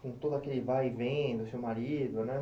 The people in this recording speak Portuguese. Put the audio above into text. com todo aquele vai e vem do seu marido, né?